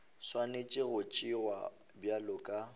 swanetše go tšewa bjalo ka